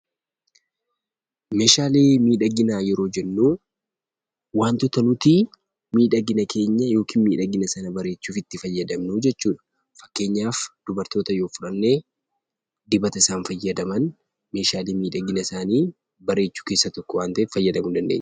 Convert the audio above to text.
Meeshaalee miidhaginaa yeroo jennuu waantota nutii miidhagina keenya yookin miidhagina sana bareechuf itti fayyadamnuu jechuudha. Fakkeenyaaf dubartoota yoo fudhannee dibata isaan fayyadaman meeshaalee miidhaginasaanii bareechuu keessaa tokko waan ta'eef fayyadamuu dandeenya.